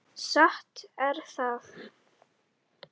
Satt er það.